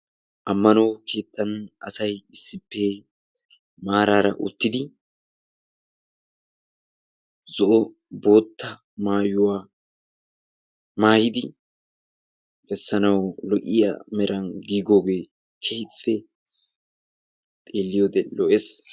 ammano keettan asay issippe maarara uttidi zo'o bootta maayuwaa mayidi bessanawu lo'iyaa meran giigoogee keehippe xeeliyoode lo"ees.